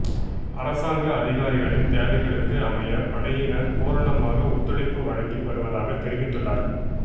அரசாங்க அதிகாரிகளின் தேவைகளுக்கு அமைய படையினர் பூரணமாக ஒத்துழைப்பு வழங்கி வருவதாகத் தெரிவித்துள்ளார்